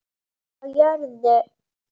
Friður á jörðu.